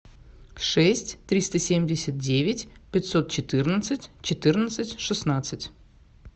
шесть триста семьдесят девять пятьсот четырнадцать четырнадцать шестнадцать